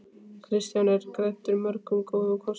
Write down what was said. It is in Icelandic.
Kristján er gæddur mörgum góðum kostum.